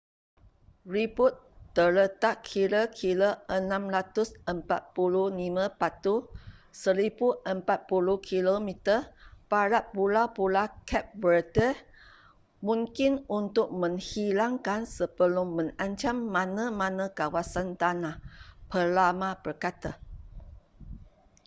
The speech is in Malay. ribut terletak kira-kira 645 batu 1040 km barat pulau-pulau cape verde mungkin untuk menghilangkan sebelum mengancam mana-mana kawasan tanah peramal berkata